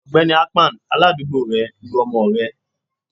Ọgbẹni akpan, aládùúgbò rẹ, lu ọmọ rẹ